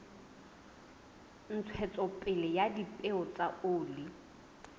ntshetsopele ya dipeo tsa oli